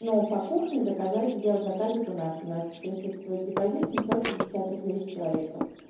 но по кухне заказать сделать заказик у нас у нас присутствует депозит семьсот пятьдесят рублей с человека